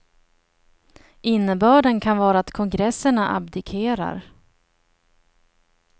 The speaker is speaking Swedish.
Innebörden kan vara att kongresserna abdikerar.